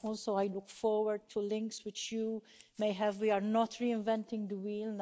I also look forward to links which you may have we are not reinventing the wheel.